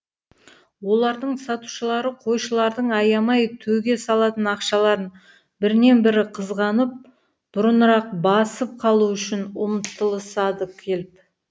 олардың сатушылары қойшылардың аямай төге салатын ақшаларын бірінен бірі қызғанып бұрынырақ басып қалу үшін ұмтылысады келіп